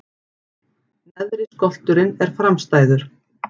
Neðri skolturinn er framstæður.